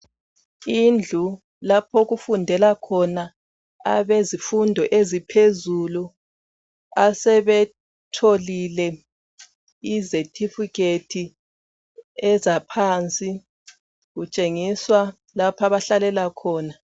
Indlu lapho okufundela khona abezifundo eziphezulu asebetholile ama ezethifikhethi ezaphansi kutshengisa lapho abahlalela khona